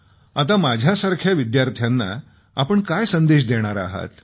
आता माझ्यासारख्या विद्यार्थ्यांना आपण काय संदेश देणार आहात